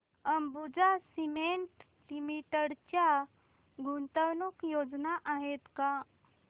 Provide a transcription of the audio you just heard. Ambuja cement limited च्या गुंतवणूक योजना आहेत का